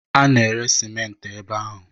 A na-ere simenti ebe ahụ.